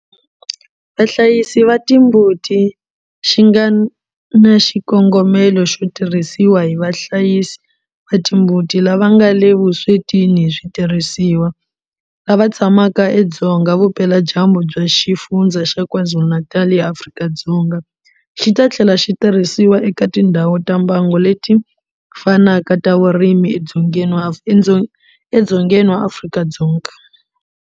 Vahlayisi va timbuti xi nga na xikongomelo xo tirhisiwa hi vahlayisi va timbuti lava nga le vuswetini hi switirhisiwa lava tshamaka edzonga vupeladyambu bya Xifundzha xa KwaZulu-Natal eAfrika-Dzonga, xi ta tlhela xi tirhisiwa eka tindhawu ta mbango leti fanaka ta vurimi edzongeni wa Afrika-Dzonga.